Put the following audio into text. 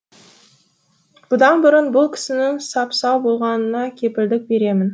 бұдан бұрын бұл кісінің сап сау болғанына кепілдік беремін